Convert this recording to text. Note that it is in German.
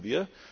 das